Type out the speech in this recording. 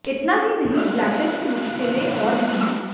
इतना ही नहीं ब्लैटर की मुश्किलें और भी हैं